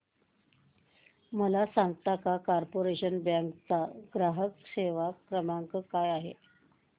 मला सांगता का कॉर्पोरेशन बँक चा ग्राहक सेवा क्रमांक काय आहे